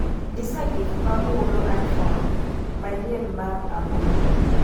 nyisa gik ma mulo iphone manyien mar aboro